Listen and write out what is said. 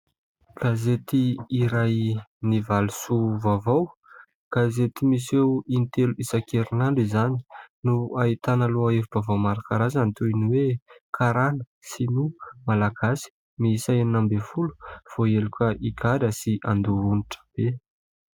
Gazety iray ny valo soa vaovao, gazety miseho intelo isan-kerinandro izany no hahitana lohahevim- baovao maro karazany toin'ny hoe : karana, sinoa, malagasy miisa enina ambin'ny folo, voaheloka higadra sy handoa onitra be.